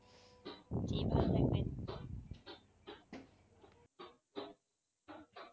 জি ভালো থাকবেন ।